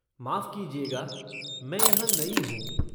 माफ़ कीजिएगा, मैं यहाँ नई हूँ।